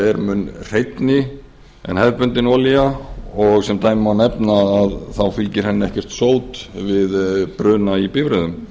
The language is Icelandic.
er mun hreinni en hefðbundin olía og sem dæmi má nefni að það fylgir henni ekkert sót við bruna í bifreiðum